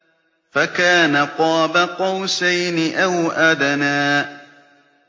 فَكَانَ قَابَ قَوْسَيْنِ أَوْ أَدْنَىٰ